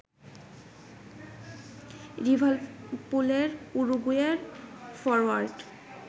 লিভারপুলের উরুগুয়ের ফরোয়ার্ড